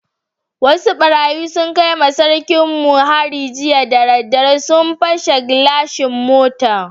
Wasu barayi sun kai ma sarkin mu hari jiya da dare, sun pashe gilashin motan.